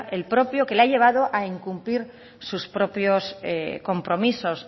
el propio que le ha llevado a incumplir sus propios compromisos